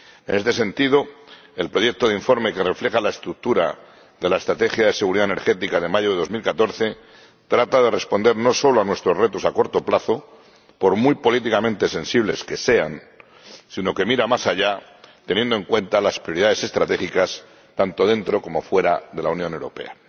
En este sentido, el proyecto de informe que refleja la estructura de la estrategia de seguridad energética de mayo de 2014 trata de responder no solo a nuestros retos a corto plazo, por muy políticamente sensibles que sean, sino que mira más allá, teniendo en cuenta las prioridades estratégicas, tanto dentro como fuera de la Unión Europea.